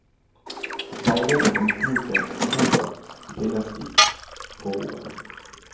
Veiledning om bruken av boka finnes i forordet.